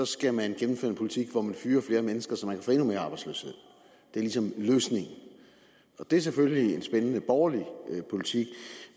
skal man gennemføre en politik hvormed man fyrer flere mennesker så man kan få endnu mere arbejdsløshed det er ligesom løsningen og det er selvfølgelig en spændende borgerlig politik